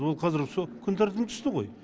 ол қазір все күн тәртібінен түсті ғой